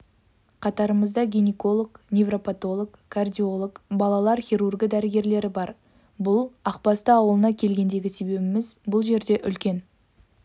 қатарымызда гинеколог невропотолог кардиолог балалар хирургі дәрігерлері бар бұл ақбасты ауылына келгендегі себебіміз бұл жерде үлкен